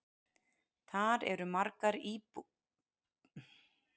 Þar eru margar búðir.